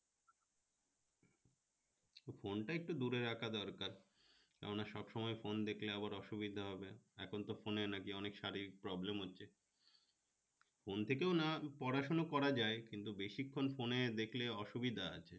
phone টা একটু দূরে রাখা দরকার কেননা সবসময় phone দেখলে আবার অসুবিধা হবে এখনতো phone এ নাকি শারীরিক problem হচ্ছে phone থেকেও না পড়াশোনা করা যায় কিন্তু বেশিক্ষণ phone এ দেখলে অসুবিধা আছে